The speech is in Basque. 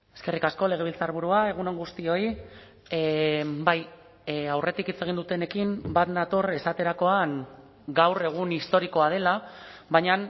eskerrik asko legebiltzarburua egun on guztioi bai aurretik hitz egin dutenekin bat nator esaterakoan gaur egun historikoa dela baina